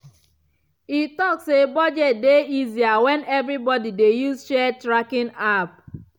e talk say budget dey easier when everybody dey use shared tracking app.